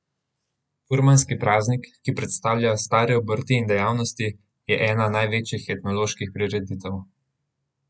Furmanski praznik, ki predstavlja stare obrti in dejavnosti, je ena največjih etnoloških prireditev.